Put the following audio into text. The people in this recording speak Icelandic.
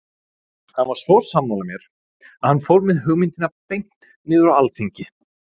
Hann var svo sammála mér að hann fór með hugmyndina beint niður á alþingi.